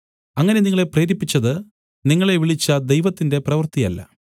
അങ്ങനെ നിങ്ങളെ പ്രേരിപ്പിച്ചത് നിങ്ങളെ വിളിച്ച ദൈവത്തിന്‍റെ പ്രവൃത്തിയല്ല